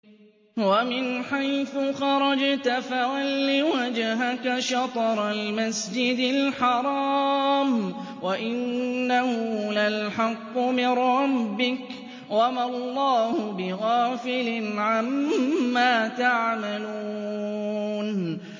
وَمِنْ حَيْثُ خَرَجْتَ فَوَلِّ وَجْهَكَ شَطْرَ الْمَسْجِدِ الْحَرَامِ ۖ وَإِنَّهُ لَلْحَقُّ مِن رَّبِّكَ ۗ وَمَا اللَّهُ بِغَافِلٍ عَمَّا تَعْمَلُونَ